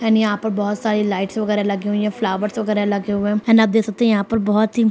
end यहाँ पर बहुत सारी लाइट वगैरा लगी हुई हैं फ्लावर्स वगैरा लगे हुए हैं एन्ड आप देख सकते हैं यहाँ पर बहुत ही --